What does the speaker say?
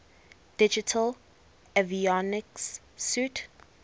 digital avionics suite